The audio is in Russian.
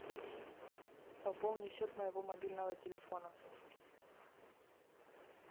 пополни счет моего мобильного телефона